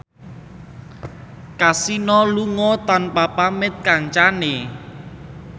Kasino lunga tanpa pamit kancane